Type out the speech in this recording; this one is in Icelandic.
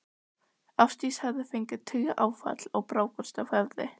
Ásdís hafði fengið taugaáfall og brákast á höfði.